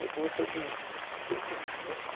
Eu conversei com... Fiquei, ficou na cabeça.